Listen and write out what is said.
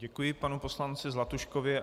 Děkuji panu poslanci Zlatuškovi.